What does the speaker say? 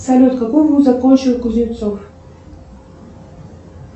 салют какой вуз закончил кузнецов